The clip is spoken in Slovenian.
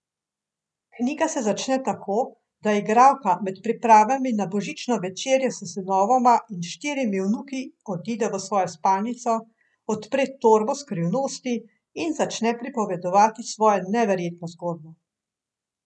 Knjiga se začne tako, da igralka med pripravami na božično večerjo s sinovoma in štirimi vnuki odide v svojo spalnico, odpre torbo skrivnosti in začne pripovedovati svojo neverjetno zgodbo.